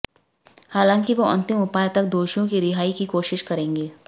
हालांकि वो अंतिम उपाय तक दोषियों की रिहाई की कोशिश करेंगे